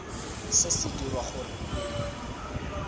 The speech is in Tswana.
se se dirwa gore o